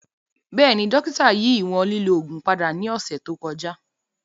Bẹẹni, dokita yi iwọn lilo oogun pada ni ọsẹ to kọja.